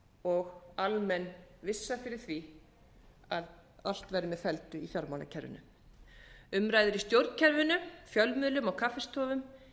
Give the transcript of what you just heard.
og almenn vissa fyrir því að allt væri með felldu í fjármálakerfinu umræður í stjórnkerfinu fjölmiðlum og kaffistofum